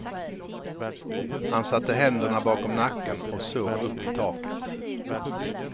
Han satte händerna bakom nacken och såg upp i taket.